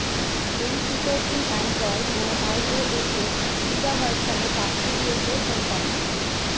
এই ফিচরটি অ্যানড্রয়েড ও আইওএস এর বিটা ভার্সানে পাঠিয়ে দিয়েছে কোম্পানি